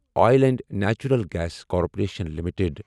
oil and natural gas corporation limited